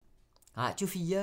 Radio 4